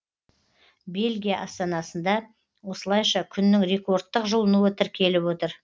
бельгия астанасында осылайша күннің рекордтық жылынуы тіркеліп отыр